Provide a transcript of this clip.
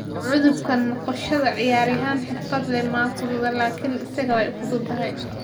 U gudubka noqoshada ciyaaryahan xirfadle ah ma fududa, laakiin isaga way u fududahay.